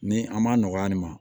Ni an m'a nɔgɔya nin ma